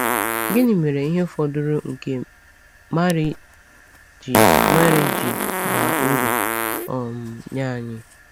Gịnị mere ihe fọdụrụ nke Màrí ji Màrí ji baa uru um nye anyị?